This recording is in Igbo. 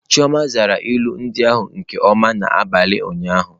Chioma zara ilu ndị ahụ nke ọma n'abalị ụnyaahụ.